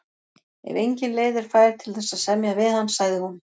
Ef engin leið er fær til þess að semja við hann, sagði hún.